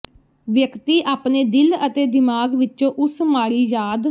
ਵਿਅਕਤੀ ਆਪਣੇ ਦਿਲ ਅਤੇ ਦਿਮਾਗ ਵਿਚੋਂ ਉਸ ਮਾੜੀ ਯਾਦ